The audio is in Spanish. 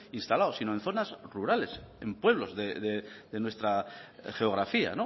instalados sino en zonas rurales en pueblos de nuestra geografía